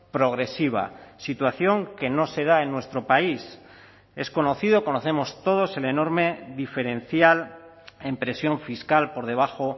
progresiva situación que no se da en nuestro país es conocido conocemos todos el enorme diferencial en presión fiscal por debajo